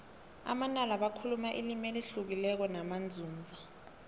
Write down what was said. amanala bakhuluma ilimi elihlukileko namanzunza